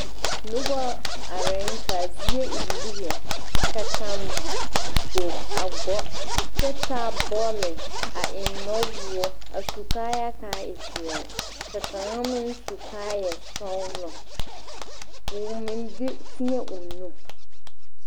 Noba arɛŋ k,a zie e lige ka kaŋ gbog a gɔ kyɛ taa bɔle a eŋ nuwoɔ a su kaayaa k,a e peɛle ka kaŋa meŋ su kaayasɔglɔ k,o meŋ de teɛŋ o nu.